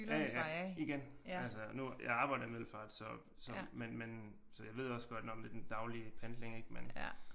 Ja ja igen altså nu jeg arbejder i Middelfart så så men men så jeg ved også godt lidt nåh det er den daglige pendling men